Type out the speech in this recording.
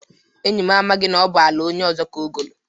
Enyị m amaghị n'ọbụ ala onye ọzọ ka ogoolu.